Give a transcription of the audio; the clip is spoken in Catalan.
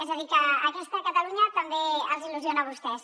és a dir que aquesta catalunya també els il·lusiona a vostès